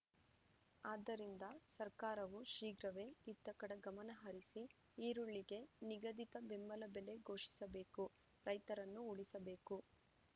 ಆದ್ದರಿಂದ ಸರ್ಕಾರವು ಶೀಘ್ರವೇ ಇತ್ತ ಕಡೆ ಗಮನಹರಿಸಿ ಈರುಳ್ಳಿಗೆ ನಿಗದಿತ ಬೆಂಬಲ ಬೆಲೆ ಘೋಷಿಸಬೇಕು ರೈತರನ್ನು ಉಳಿಸಬೇಕು